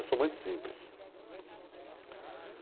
Eu sou muito simples.